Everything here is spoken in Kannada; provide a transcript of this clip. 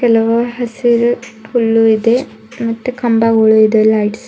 ಕೆಲವು ಹಸಿರು ಹುಲ್ಲು ಇದೆ ಮತ್ತು ಕಂಬಗಳು ಇದೆ ಲೈಟ್ಸ್ --